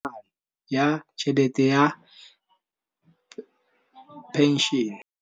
Rragwe o amogetse tlhatlhaganyô ya tšhelête ya phenšene.